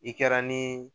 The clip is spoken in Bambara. I kɛra ni